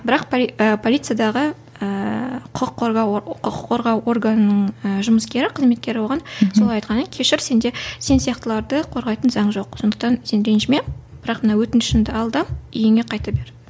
бірақ полициядағы ыыы құқық қорғау құқық қорғау органының ы жұмыскері қызметкері оған солай айтқаннан кейін кешір сенде сен сияқтыларды қорғайтын заң жоқ сондықтан сен ренжіме бірақ мына өтінішіңді ал да үйіңе қайта бер